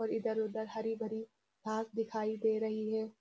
और इधर-उधर हरी भरी घास दिखाई दे रही है।